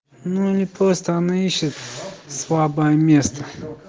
ну они просто она ищет слабое место